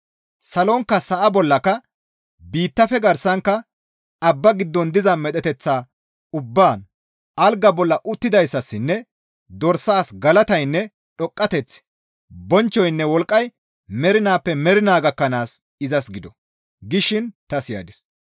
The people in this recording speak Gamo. Salonkka sa7a bollaka, biittafe garsankka, abba giddon diza medheteththa ubbaan, «Algaa bolla uttidayssassinne dorsaas galataynne dhoqqateththi, bonchchoynne wolqqay mernaappe mernaa gakkanaas izas gido!» gishin ta siyadis.